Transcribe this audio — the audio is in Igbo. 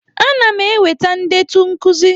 Ana m eweta ndetu nkuzi.